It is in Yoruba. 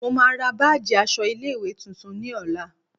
Mo máa ra báàjì aṣọ ilé ìwé tuntun ní ọ̀la.